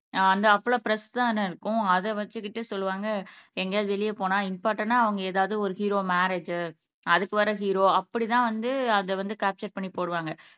ஆஹ் அந்த அப்பலா ப்ரெஸ்தானே இருக்கும் அதை வைச்சுக்கிட்டு சொல்லுவாங்க எங்கேயாவது வெளியே போனா இம்பார்ட்டண்டா அவங்க ஏதாவது ஒரு ஹீரோ மேரேஜ் அதுக்கு வர ஹீரோ அப்படிதான் வந்து அதை வந்து கேப்ச்சர் பண்ணி போடுவாங்க